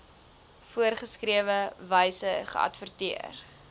voorgeskrewe wyse geadverteer